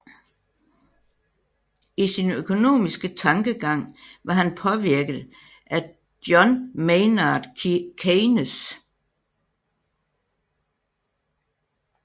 I sin økonomiske tankegang var han påvirket af John Maynard Keynes